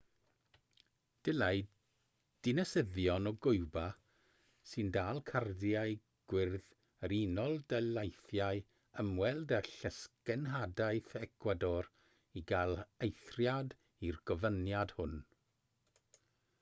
dylai dinasyddion o giwba sy'n dal cardiau gwyrdd yr unol daleithiau ymweld â llysgenhadaeth ecwador i gael eithriad i'r gofyniad hwn